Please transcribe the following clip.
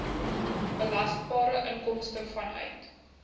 belasbare inkomste vanuit